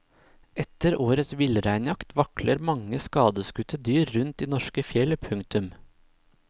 Etter årets villreinjakt vakler mange skadeskutte dyr rundt i norske fjell. punktum